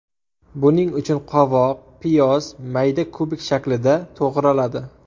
Buning uchun qovoq, piyoz mayda kubik shaklida to‘g‘raladi.